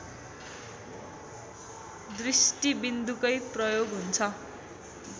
दृष्टिबिन्दुकै प्रयोग हुन्छ